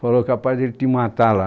Falou que, rapaz, ele ia te matar lá.